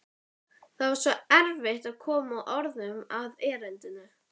Það var svo erfitt að koma orðum að erindinu.